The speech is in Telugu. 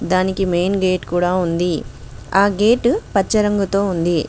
దానికి మెయిన్ గేట్ కూడా ఉంది ఆ గేటు పచ్చ రంగుతో ఉంది.